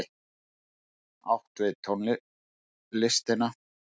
Átt við tónlistina.